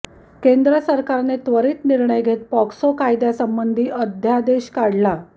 केंद्र सरकारने त्वरीत निर्णय घेत पॉक्सो कायद्यासंबंधी अध्यादेश काढला